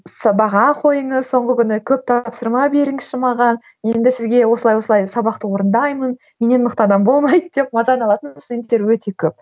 қойыңыз соңғы күні көп тапсырма беріңізші маған енді сізге осылай осылай сабақты орындаймын менен мықты адам болмайды деп мазаны алатын студенттер өте көп